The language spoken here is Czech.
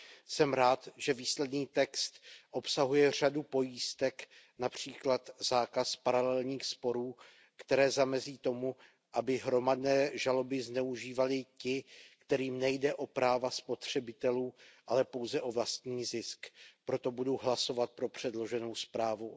Jsem rád, že výsledný text obsahuje řadu pojistek, například zákaz paralelních sporů, které zamezí tomu, aby hromadné žaloby zneužívali ti, kterým nejde o práva spotřebitelů, ale pouze o vlastní zisk. Proto budu hlasovat pro předloženou zprávu.